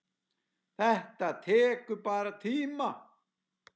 Þetta tekur bara tíma.